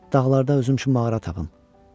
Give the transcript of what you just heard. Dağlarda özüm üçün mağara tapım.